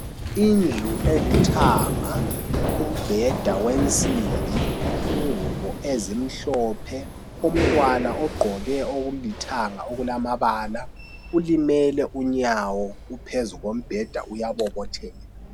Indlu elithanga umbheda wensimbi ingubo ezimhlophe umntwana ogqoke okulithanga okulamabala ulimele unyawo uphezombheda uyabobotheka.